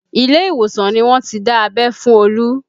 Ile ìwòsàn ni wọ́n ti dá abẹ́ fún Olu